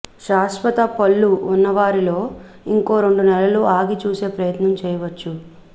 శాశ్వత పళ్లు ఉన్నవారిలో ఇంకో రెండు నెలలు ఆగి చూసే ప్రయత్నం చేయచ్చు